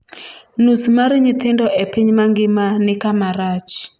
nus mar nyithindo e piny mangima ni kama rach